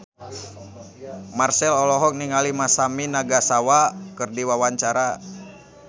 Marchell olohok ningali Masami Nagasawa keur diwawancara